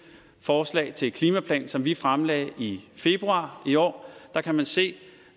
forslag til en klimaplan som vi fremlagde i februar i år kan se